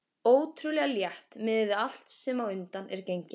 Ótrúlega létt miðað við allt sem á undan er gengið.